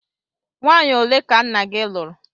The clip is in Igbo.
Nwanyi ole ka nna gi lụrụ?